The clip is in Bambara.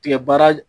Tigɛ baara